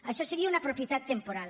això seria una propietat temporal